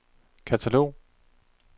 katalog